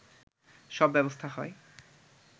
সব ব্যবস্থা হয়